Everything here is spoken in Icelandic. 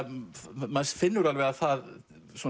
maður finnur alveg að það